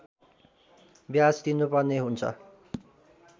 ब्याज तिर्नुपर्ने हुन्छ